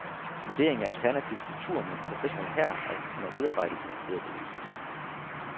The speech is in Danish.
Vurdering af alternativ struktur med en professionel hær er under udarbejdelse, hedder det i udkastet.